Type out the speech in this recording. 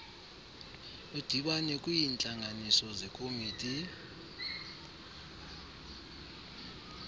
ludibane kwiintlanganiso zekomiti